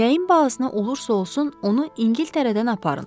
Nəyin bahasına olursa olsun onu İngiltərədən aparın.